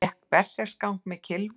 Gekk berserksgang með kylfu